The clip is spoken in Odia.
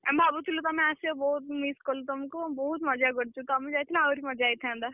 ଆମେ ଭାବୁଥିଲୁ ତମେ ଆସିବ ବହୁତ୍ miss କଲୁ ତମକୁ ବହୁତ୍ ମଜା କରିଚୁ। ତମେ ଯାଇଥିଲେ ଆହୁରି ମଜା ହେଇଥାନ୍ତା।